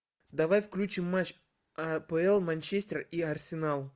давай включим матч апл манчестер и арсенал